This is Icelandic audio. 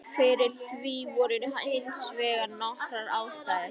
Fyrir því voru hins vegar nokkrar ástæður.